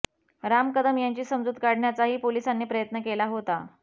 राम कदम यांची समजूत काढण्याचाही पोलिसांनी प्रयत्न केला होता